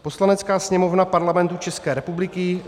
"Poslanecká sněmovna Parlamentu České republiky